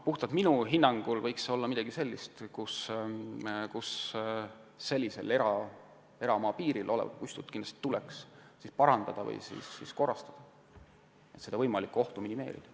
Minu hinnangul võiks see olla midagi sellist, et eramaa piiril olevat puistut tuleks kindlasti parandada või korrastada, et võimalikku ohtu minimeerida.